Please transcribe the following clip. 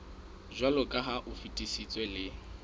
jwaloka ha o fetisitswe le